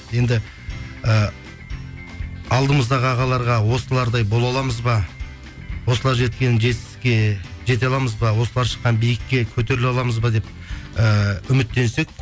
енді і алдымыздағы ағаларға осылардай бола аламыз ба осылар жеткен жетістікке жете аламыз ба осылар шыққан биікке көтеріле аламыз ба деп ііі үмітенсек